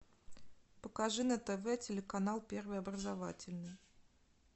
покажи на тв телеканал первый образовательный